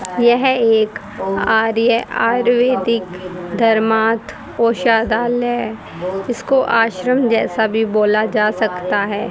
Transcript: यह एक आयुर्वेदिक धर्मार्थ औषधालय इसको आश्रम जैसा भी बोला जा सकता है।